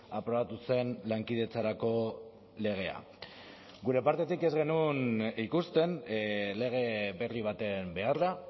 aprobatu zen lankidetzarako legea gure partetik ez genuen ikusten lege berri baten beharra